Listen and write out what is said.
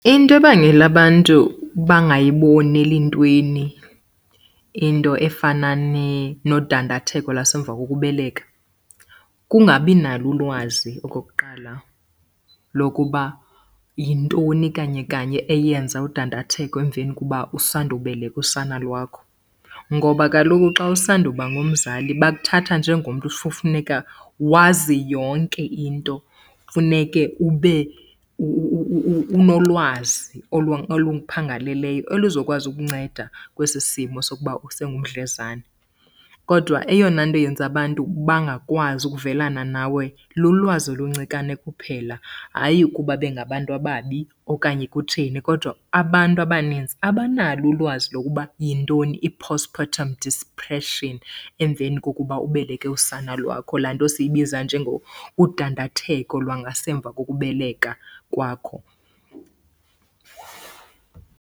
Into ebangela abantu bangayiboneli ntweni into efana nodandatheko lwasemva kokubeleka kungabi nalo ulwazi okokuqala lokuba yintoni kanye kanye eyenza udandatheko emveni kuba usandubeleka usana lwakho. Ngoba kaloku xa usanda uba ngumzali bakuthatha njengomntu funeka wazi yonke into. Funeke ube unolwazi oluphangaleleyo elizokwazi ukunceda kwesi simo sokuba usengumdlezane. Kodwa eyona nto yenza abantu bangakwazi ukuvelana nawe lulwazi oluncikane kuphela, hayi ukuba bengabantu ababi okanye kutheni. Kodwa abantu abanintsi abanalo ulwazi lokuba yintoni i-postpatrum depression emveni kokuba ubeleke usana lwakho. Laa nto siyibiza udandatheko lwangasemva kokubeleka kwakho.